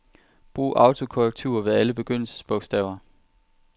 Brug autokorrektur ved alle begyndelsesbogstaver.